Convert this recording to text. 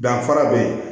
Danfara beyi